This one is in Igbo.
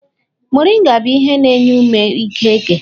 Moringa bụ ihe na-enye ume ike eke.